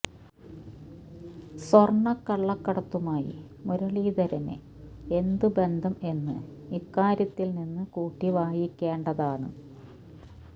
സ്വർണ്ണ കള്ളക്കടത്തുമായി മുരളീധരന് എന്ത് ബന്ധം എന്ന് ഇക്കാര്യത്തിൽ നിന്ന് കൂട്ടി വായിക്കേണ്ടത് ആണ്